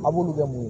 A b'olu bɛ mun